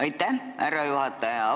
Aitäh, härra juhataja!